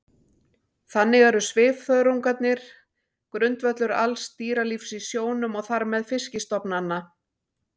Þannig eru svifþörungarnir grundvöllur alls dýralífs í sjónum og þar með fiskistofnanna.